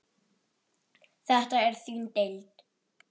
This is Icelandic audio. Þetta er þín deild.